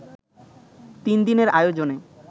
তিন দিনের আয়োজনে